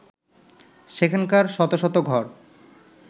সেখানকার শত শত ঘর